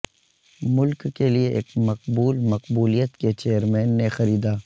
ملک کے لئے ایک مقبول مقبولیت کے چیئرمین نے خریدا